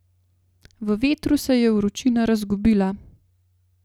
V vetru se je vročina razgubila.